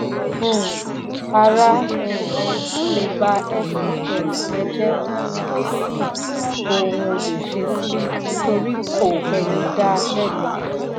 um árá um lè bá shs rẹ jẹ kò sì ou ó lè ṣe sí torí kò ẹni dá lẹ̀bi.